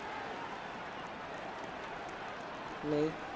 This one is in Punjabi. ਨਹੀਂ।